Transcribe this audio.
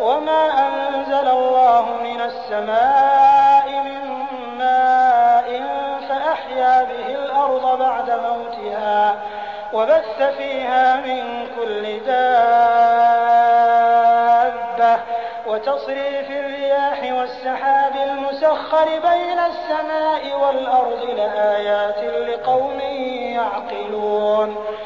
وَمَا أَنزَلَ اللَّهُ مِنَ السَّمَاءِ مِن مَّاءٍ فَأَحْيَا بِهِ الْأَرْضَ بَعْدَ مَوْتِهَا وَبَثَّ فِيهَا مِن كُلِّ دَابَّةٍ وَتَصْرِيفِ الرِّيَاحِ وَالسَّحَابِ الْمُسَخَّرِ بَيْنَ السَّمَاءِ وَالْأَرْضِ لَآيَاتٍ لِّقَوْمٍ يَعْقِلُونَ